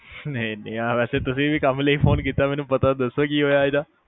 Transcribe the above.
ਨਹੀ-ਨਹੀ ਅ ਵੇਸੈ ਤੁਸੀ ਵੀ ਕੰਮ ਲਈ ਫੋਨ ਕੀਤਾ ਮੈਨੂੰ ਪਤਾ ਦਸੋਂ ਕੀ ਹੋਇਆ ਹੀਗਾ